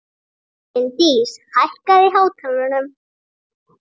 Finndís, hækkaðu í hátalaranum.